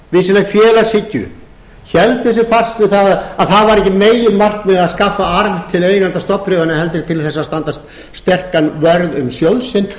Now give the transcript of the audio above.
héldu sig fast við að það var ekki meginmarkmiðið að skaffa arð til eigenda stofnbréfanna heldur til þess að standa sterkan vörð um sjóð sinn